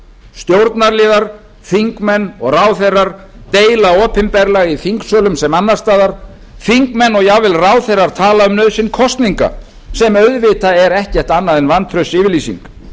stjórnarliðar þingmenn og ráðherrar deila opinberlega í þingsölum sem annars staðar þingmenn og jafnvel ráðherrar tala um nauðsyn kosninga sem auðvitað er ekkert annað en vantraustsyfirlýsing